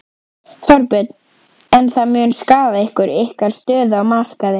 Þorbjörn: En það mun skaða ykkur, ykkar stöðu á markaði?